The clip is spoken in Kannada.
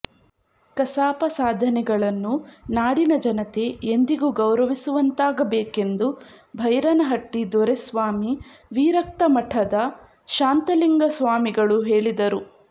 ಕಸಾಪ ಸಾಧನೆಗಳನ್ನು ನಾಡಿನ ಜನತೆ ಎಂದಿಗೂ ಗೌರವಿಸುವಂತಾಗಬೇಕೆಂದು ಭೈರನಹಟ್ಟಿ ದೊರೆಸ್ವಾಮಿ ವಿರಕ್ತಮಠದ ಶಾಂತಲಿಂಗ ಸ್ವಾಮಿಗಳು ಹೇಳಿದರು